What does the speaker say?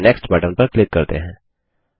और next button पर click करते हैं